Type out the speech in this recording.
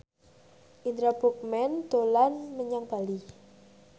Indra Bruggman dolan menyang Bali